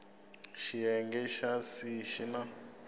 xiyenge xa c xi na